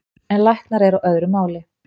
En læknar eru á öðru máli